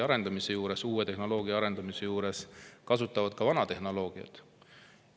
Aga uue tehnoloogia arendamise juures kasutavad nad ka vana tehnoloogiat.